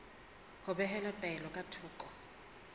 ho behela taelo ka thoko